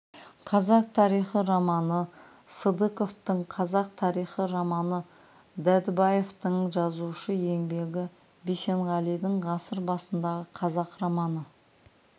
қазақ тарихи романы сыдықовтың қазақ тарихи романы дәдебаевтың жазушы еңбегі бисенғалидің ғасыр басьндағы қазақ романы